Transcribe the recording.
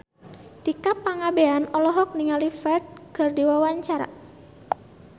Tika Pangabean olohok ningali Ferdge keur diwawancara